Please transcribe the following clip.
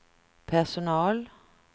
personal